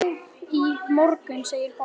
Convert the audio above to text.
Hann dó í morgun, segir pabbi.